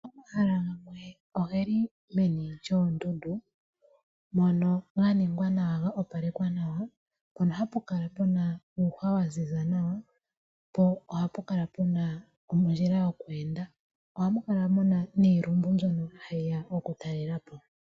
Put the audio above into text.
Omahala gamwe ogeli meni lyondundu mono ganingwa nawa ano go opalekwa nawa mpono hapu kala puna uuhwa wa ziza nawa, po ohapu kala puna ondjila yokwenda. Ohamu kala muna iilumbo mbyono yeya oku talelapo.